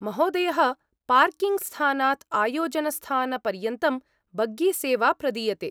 महोदयः, पार्किङ्ग्स्थानात् आयोजनस्थानपर्यन्तं बग्गीसेवा प्रदीयते।